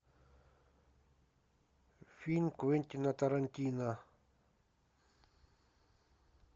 фильм квентина тарантино